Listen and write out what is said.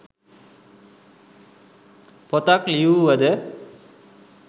පොතක් ලියූව ද